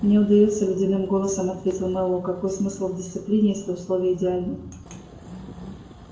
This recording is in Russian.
мне удаётся ледяным голосом ответил мэллоу какой смысл в дисциплине если условия идеальны